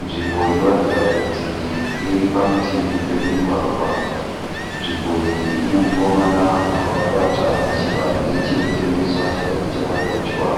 Nzvimbo inoratidza kuti iri parutivi pemugwagwa. Nzvimbo iyi ine mukomana wakabata chibage chiri kutengeswa, chibage chakagochwa.